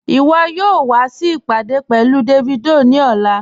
Iwọ̀ yóò wà sí ìpádé pẹ̀lú Davido ni ọ̀lá